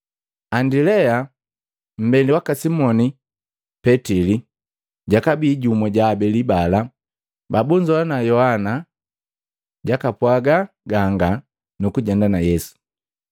Andilea, mmbeli waka Simoni Petili, jakabii jumu ja abeli bala babunzowa Yohana jakapwaga ganga nukujenda na Yesu.